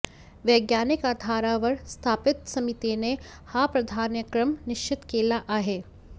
वैज्ञानिक आधारावर स्थापित समितीने हा प्राधान्यक्रम निश्चित केला आहे